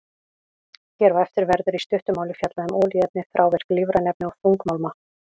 Hér á eftir verður í stuttu máli fjallað um olíuefni, þrávirk lífræn efni og þungmálma.